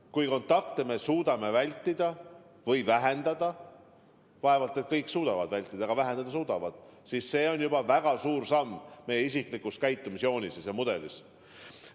Kui me suudame kontakte vältida või vähendada – vaevalt kõik suudavad vältida, aga vähendada suudavad –, siis see on juba väga suur samm meie isiklikus käitumisjoonises ja ‑mudelis.